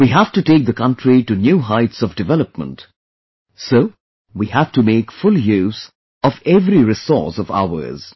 We have to take the country to new heights of development, so we have to make full use of every resource of ours